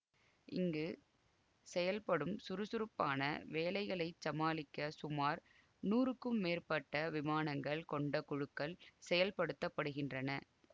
இங்கு செயல்படும் சுறுசுறுப்பான வேலைகளை சமாளிக்க சுமார் நூறுக்கும் மேற்பட்ட விமானங்கள் கொண்ட குழுக்கள் செயல்படுத்த படுகின்றன